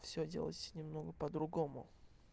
все делалось немного по-другому